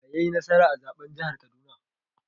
Wa yai nasara a zaɓen jihar Kaduna?